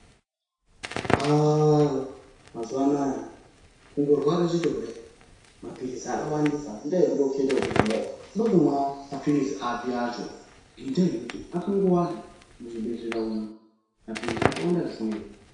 Haaa mazuva anawa kungorwara chete kudai mapirizi akawandisa unoita zvekukets kuti Unoda kumwa mapirizi api acho ngenda yekuti akangowanda muzvibhedhlera umu mapirizi akawanda zvisingaiti.